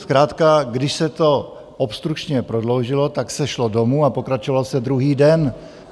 Zkrátka když se to obstrukčně prodloužilo, tak se šlo domů a pokračovalo se druhý den.